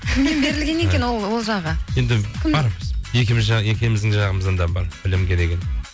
кімнен берілген екен ол жағы енді бар екеуіміздің жағымыздан да бар білімге деген